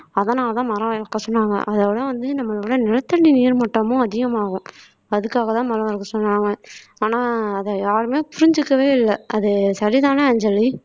அதனாலதான் மரம் வளர்க்க சொன்னாங்க அதோட வந்து நம்மளோட நிலத்தடி நீர்மட்டமும் அதிகமாகும் அதுக்காகத்தான் மரம் வளர்க்க சொன்னாங்க ஆனா அத யாருமே புரிஞ்சுக்கவே இல்ல அது சரிதான அஞ்சலி